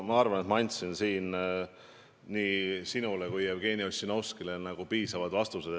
Ma arvan, et ma andsin nii sinule kui ka Jevgeni Ossinovskile piisavad vastused.